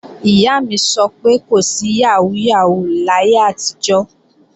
Ìyá mi sọ pé kò sí yàhóó yàhóó láyé àtijọ́